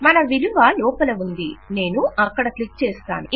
మన విలువ లోపల ఉంది నేను అక్కడ క్లిక్ చేస్తాను